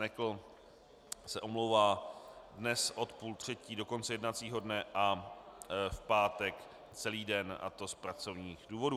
Nekl se omlouvá dnes od půl třetí do konce jednacího dne a v pátek celý den, a to z pracovních důvodů.